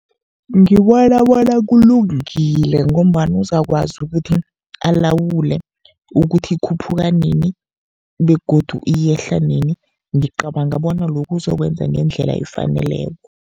Ngibona bona kulungile, ngombana uzakwazi ukuthi alawule ukuthi ikhuphuka nini begodu yehla nini. Ngicabanga bona lokhu uzokwenza ngendlela efaneleko.